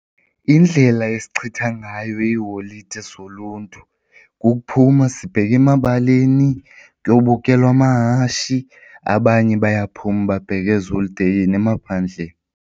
Indlela ezichitha ngayo iiholide zoluntu kukuphuma sibheke emabaleni kuyobukelwa amahashi abanye bayaphuma babheke eziholideyini emaphandleni.